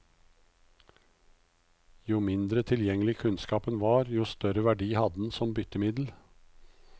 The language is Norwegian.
Jo mindre tilgjengelig kunnskapen var, jo større verdi hadde den som byttemiddel.